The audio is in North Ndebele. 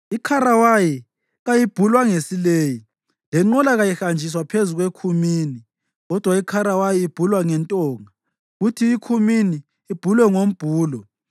Ikharawayi kayibhulwa ngesileyi; lenqola kayihanjiswa phezu kwekhumini, kodwa ikharawayi ibhulwa ngentonga, kuthi ikhumini ibhulwe ngombhulo.